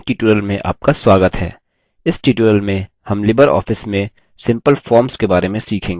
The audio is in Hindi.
इस tutorial में हम libreoffice में simple forms के बारे में सीखेंगे